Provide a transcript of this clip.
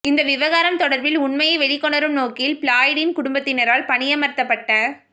இந்த விவகாரம் தொடர்பில் உண்மையை வெளிக்கொணரும் நோக்கில் ஃபிலாய்டின் குடும்பத்தினரால் பணியமர்த்தப்பட்ட